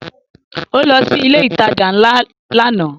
Ó lọ sí ilé ìtajà ńlá lánàá